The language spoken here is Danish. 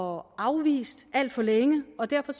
og afvist alt for længe og derfor